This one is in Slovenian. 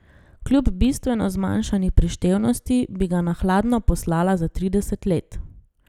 Kljub bistveno zmanjšani prištevnosti bi ga na hladno poslala za trideset let.